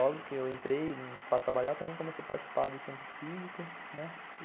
Logo que eu entrei para trabalhar, também comecei a participar do Centro Cívico, né.